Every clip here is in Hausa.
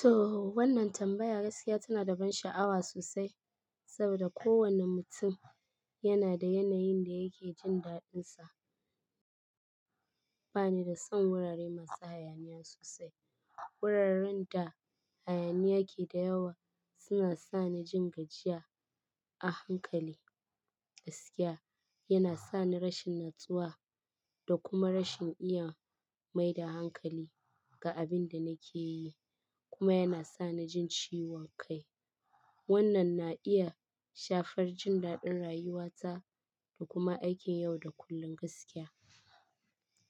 To, wannan tambaya gaskiya tana da ban sha'awa sosai, saboda kowane mutum yana da yanayin da yake jin daɗinsa. Ba ni da son wurare masu hayaniya sosai. Wuraren da hayaniya ke da yawa suna sa ni jin gajiya a hankali. Gaskiya, yana sa ni rashin natsuwa da kuma rashin iya maida hankali ga abin da nake yi, kuma yana sa ni jin ciwon kai. Wannan na iya shafar jin daɗin rayuwata da kuma aikin yau da kullun gaskiya.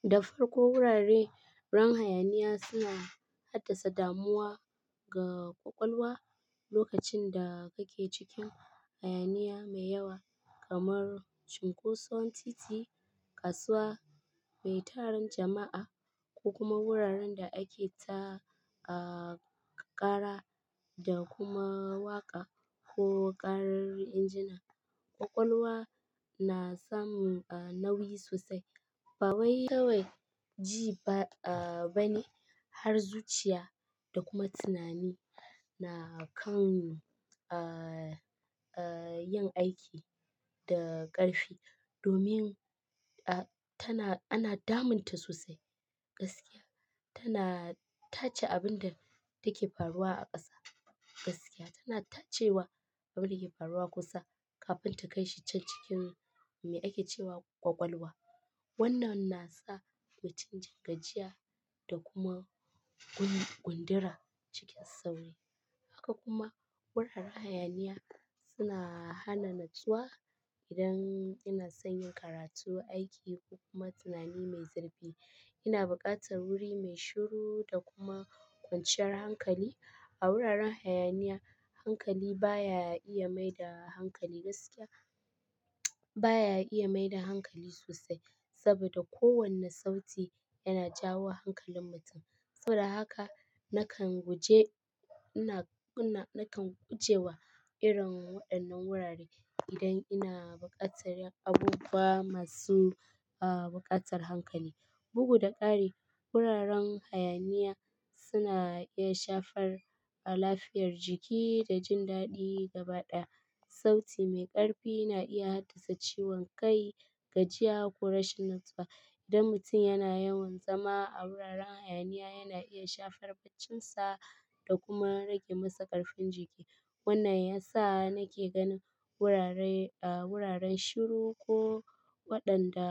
Da farko wurare ran hayaniya suna haddasa damuwa ga ƙwaƙwalwa lokacin da kake cikin hayaniya mai yawa kamar chinkoson titi, kasuwa mai tarin jama'a ko kuma wuraren da ake takara da kuma waƙa ko ƙarar injina. Ƙwaƙwalwa na samu nauyi sosai, ba wai kawai ji bane har zuciya da kuma tunani na kan yin aiki da ƙarfi domin tana, ana damun ta sosai. Gaskiya, tana tace abin da take faruwa a ƙasa. Gaskiya, tana tacewa abin da ke faruwa kusa kafin ta kai shi can cikin me ake cewa ƙwaƙwalwa. Wannan na sa mutum jin gajiya da kuma gundura cikin sauri. Haka kuma wuraren hayaniya suna hana natsuwa idan ina son yin karatu, aiki ko kuma tunani mai zurfi. Ina buƙatar wuri mai shiru da kuma kwanciyar hankali. A wuraren hayaniya, hankali baya iya maida hankali gaskiya. Baya iya maida hankali sosai saboda kowane sauti yana jawo hankalin mutum. Saboda haka nakan guje, nakan gujewa irin waɗannan wurare idan ina buƙatar abubuwa masu buƙatar hankali. Bugu da ƙari, wuraren hayaniya suna iya shafar lafiyar jiki da jin daɗi gaba ɗaya. Sauti mai ƙarfi na iya haddasa ciwon kai, gajiya ko rashin natsuwa. Idan mutum yana yawan zama a wuraren hayaniya yana iya shafar baccinsa da kuma rage masa ƙarfin jiki. Wannan ya sa nake ganin wurare, wuraren shiru ko waɗanda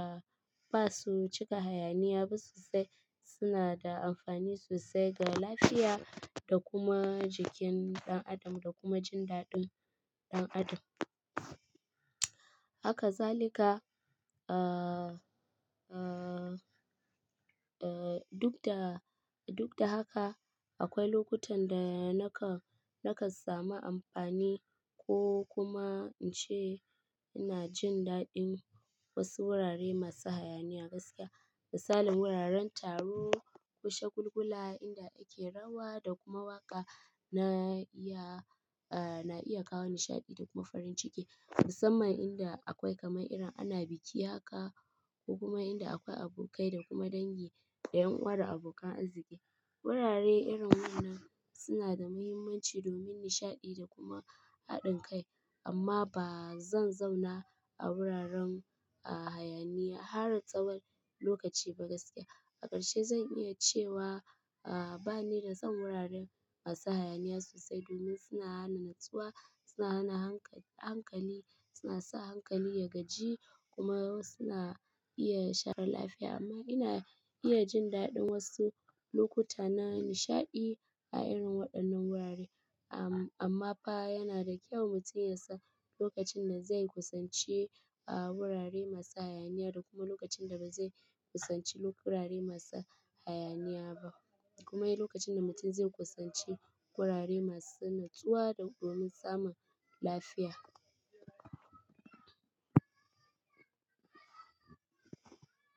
ba su cika hayaniya ba sosai suna da amfani sosai ga lafiya da kuma jikin ɗan adam da kuma jin daɗin ɗan adam. Hakazalika, uh, uh, uh duk da, duk da haka akwai lokutan da nakan, nakan sami amfani ko kuma in ce ina jin daɗin wasu wurare masu hayaniya gaskiya. Misalin wuraren taro, ƙushe gulgula inda ake rawa da kuma waƙa na iya, na iya kawo nishaɗi da kuma farin ciki. Musamman inda akwai kamar irin ana biki haka ko kuma inda akwai abokai da kuma dangi, ɗayan uwar abokan arziki. Wurare irin wannan suna da muhimmanci domin nishaɗi da kuma haɗin kai amma ba zan zauna a wuraren hayaniya har tsawon lokaci ba gaskiya. A ƙarshe zan iya cewa a ba ni da son wuraren masu hayaniya sosai domin suna hana natsuwa, suna hana hankali, suna sa hankali ya gaji kuma suna iya share lafiya amma ina iya jin daɗin wasu lokuta na nishaɗi a irin waɗannan wurare. Amma fa yana da kyau mutum ya san lokacin da zai kusanci wurare masu hayaniya da kuma lokacin da ba zai kusanci wurare masu hayaniya ba. Kuma lokacin da mutum zai kusanci wurare masu natsuwa domin samun lafiya.